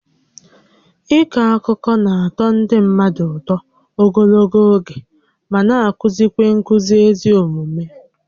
Ịkọ akụkọ na-atọ ndị mmadụ ụtọ ogologo oge ma na-akụzi nkuzi ezi omume